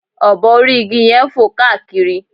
obo orí igi yẹn ń fò káàkiri